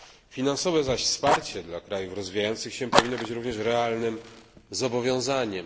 Finansowe zaś wsparcie dla krajów rozwijających się powinno być również realnym zobowiązaniem.